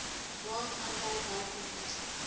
raad aandui bykomend